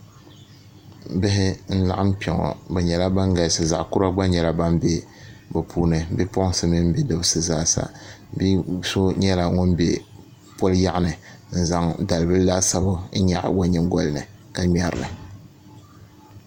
Bihi n laɣam kpɛ ŋo bi nyɛla bin galisi zaɣ kura gba nyɛla bin bɛ bi puuni bipuɣunsi mini bidibsi zaasa bia so nyɛla ŋun bɛ poli yaɣa ni n zaŋ dalibili laasabu n nyaɣa o nyingoli ni ka ŋmɛrili